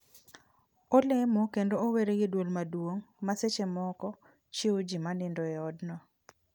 Olemo kendo ower gi duol maduong' ma seche moko chiew ji manindo e odno